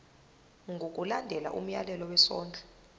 ngokulandela umyalelo wesondlo